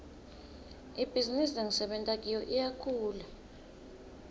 ibhizinisi lengisebenta kiyo iyakhula